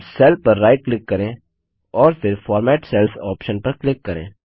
अब सेल पर right click करें और फिर फॉर्मेट सेल्स ऑप्शन पर क्लिक करें